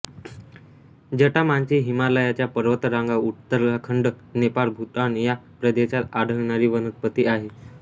जटामांसी हिमालयाच्या पर्वतरांगा उत्तराखंड नेपाळ भूतान या प्रदेशात आढळणारी वनस्पती आहे